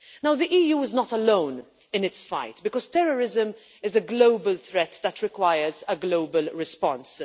The EU is not alone in its fight, because terrorism is a global threat that requires a global response.